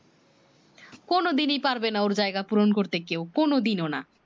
কোনো দিনই পারবে না ওর জায়গা পূরণ করতে কেও কোনো দিনো না